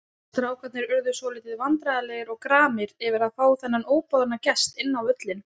Strákarnir urðu svolítið vandræðalegir og gramir yfir að fá þennan óboðna gest inn á völlinn.